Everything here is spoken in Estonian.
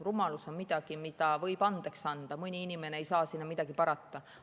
Rumalus on midagi, mida võib andeks anda, mõni inimene ei saa sinna midagi parata.